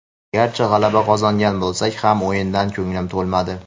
Garchi g‘alaba qozongan bo‘lsak ham o‘yindan ko‘nglim to‘lmadi.